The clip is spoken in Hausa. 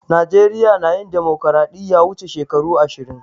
Najeriya na yin dimokiradiyya wuche shekaru ashirin.